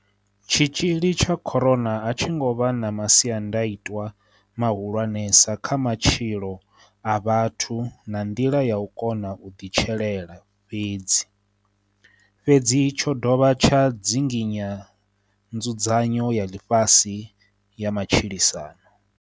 Tshitzhili tsha corona a tshi ngo vha na masiandaitwa mahu-lwanesa kha matshilo a vhathu na nḓila ya u kona u ḓitshelela fhedzi, fhedzi tsho dovha tsha dzinginya nzudzanyo ya ḽifhasi ya matshilisano.